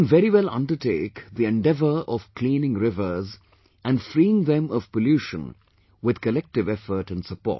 We can very well undertake the endeavour of cleaning rivers and freeing them of pollution with collective effort and support